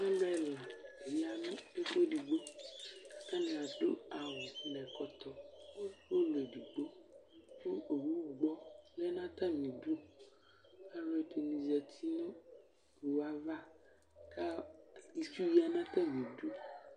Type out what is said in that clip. Alʋ ɛlani yanʋ ɛfʋ edigbo alʋ adʋ awʋ nʋ ɛkɔtɔ ʋlɔ edigbo kʋ owʋwɛ lɛnʋ atami idʋ alʋ ɛini zati nʋ owue avakʋ itsʋ yanʋ atami idʋ